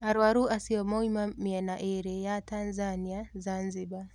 Arũaru acio moima mĩena ĩĩrĩ ya Tanzania, Zanzibar.